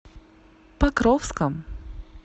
покровском